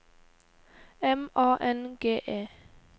M A N G E